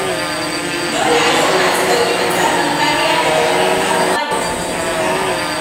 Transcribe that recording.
Dole al'umma ta ɗauki matakan kariya daga barin kamuwa da cututtuka.